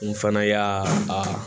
N fana y'a aa